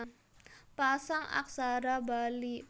Pasang Aksara Bali